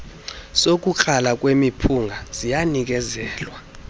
sokukrala kwemiphunga ziyanikezelwa